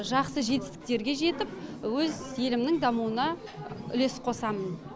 жақсы жетістіктерге жетіп өз елімнің дамуына үлес қосамын